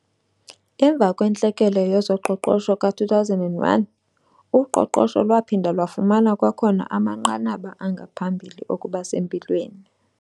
Emva kwentlekele yezoqoqosho ka-2001, uqoqosho lwaphinda lwafumana kwakhona amanqanaba angaphambili okuba sempilweni.